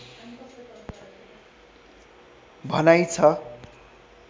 भनाइ छ